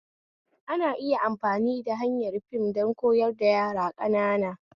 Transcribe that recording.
Ana iya amfani da hanyar fim don koyar da yara ƙanana